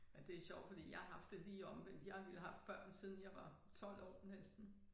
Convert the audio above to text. Ja det sjovt fordi jeg har haft det lige omvendt jeg har nemlig haft børn siden jeg var 12 år næsten